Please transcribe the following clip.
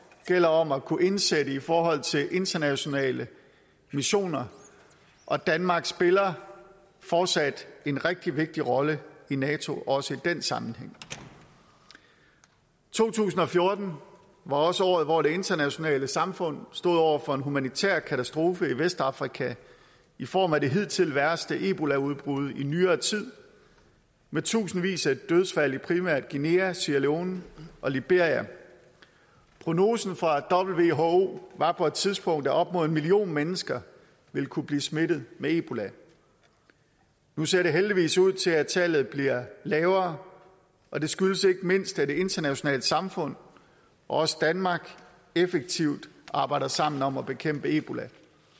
gælder om at kunne indsætte i forhold til internationale missioner og danmark spiller fortsat en rigtig vigtig rolle i nato også i den sammenhæng to tusind og fjorten var også året hvor det internationale samfund stod over for en humanitær katastrofe i vestafrika i form af det hidtil værste ebolaudbrud i nyere tid med tusindvis af dødsfald i primært guinea sierra leone og liberia prognosen fra who var på et tidspunkt at op imod en million mennesker ville kunne blive smittet med ebola nu ser det heldigvis ud til at tallet bliver lavere og det skyldes ikke mindst at det internationale samfund også danmark effektivt arbejder sammen om at bekæmpe ebola